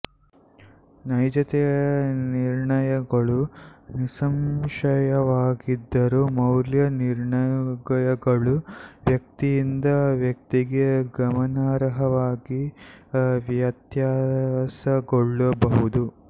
ನೈಜತೆಯ ನಿರ್ಣಯಗಳು ನಿಸ್ಸಂಶಯವಾಗಿದ್ದರೂ ಮೌಲ್ಯ ನಿರ್ಣಯಗಳು ವ್ಯಕ್ತಿಯಿಂದ ವ್ಯಕ್ತಿಗೆ ಗಮನಾರ್ಹವಾಗಿ ವ್ಯತ್ಯಾಸಗೊಳ್ಳಬಹುದು